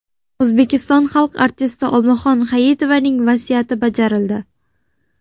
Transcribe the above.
O‘zbekiston xalq artisti Olmaxon Hayitovaning vasiyati bajarildi.